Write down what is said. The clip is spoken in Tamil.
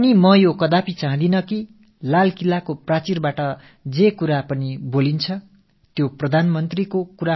செங்கோட்டைக் கொத்தளத்திலிருந்து தெரிவிக்கப்படும் கருத்துக்கள் பிரதமருடையதாகத் தான் இருக்க வேண்டும் என்பது என் விருப்பமல்ல